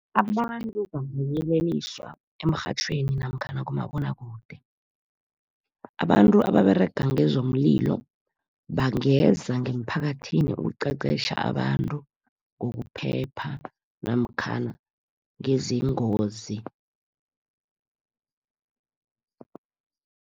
Abantu bangayeleliswa emrhatjhweni namkhana kumabonwakude. Abantu ababerega ngezomlilo, bangeza ngeemphakathini ukuqeqetjha abantu ngokuphepha namkhana ngeengozi.